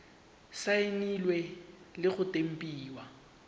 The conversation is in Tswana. saenilwe le go tempiwa ke